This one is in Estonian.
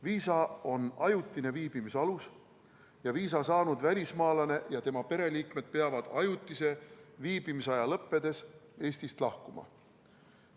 Viisa on ajutine viibimisalus ja viisa saanud välismaalane ja tema pereliikmed peavad ajutise viibimisaja lõppedes Eestist lahkuma.